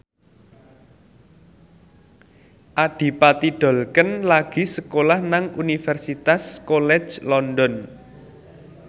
Adipati Dolken lagi sekolah nang Universitas College London